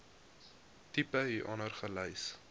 tipe hieronder gelys